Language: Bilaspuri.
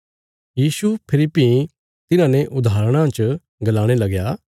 यीशु फेरी भीं तिन्हांने उदाहरणां च गलाणे लगया